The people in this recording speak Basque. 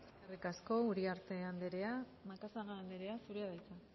eskerrik asko uriarte anderea macazaga anderea zurea da hitza